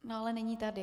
No ale není tady.